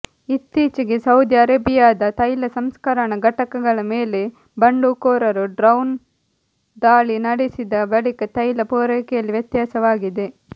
ಇತ್ತೀಚೆಗೆ ಸೌದಿ ಅರೇಬಿಯಾದ ತೈಲ ಸಂಸ್ಕರಣ ಘಟಕಗಳ ಮೇಲೆ ಬಂಡುಕೋರರು ಡ್ರೋನ್ ದಾಳಿ ನಡೆಸಿದ ಬಳಿಕ ತೈಲ ಪೂರೈಕೆಯಲ್ಲಿ ವ್ಯತ್ಯಾಸವಾಗಿದೆ